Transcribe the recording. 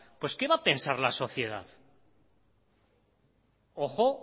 pues qué va a pensar la sociedad ojo